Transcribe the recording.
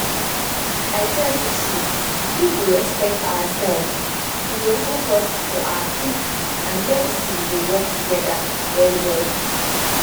i tell you true if we respect ourselves e go help us for our faith and medicine go work together well well